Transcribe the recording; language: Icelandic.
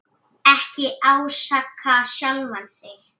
Ekki ásaka sjálfan þig.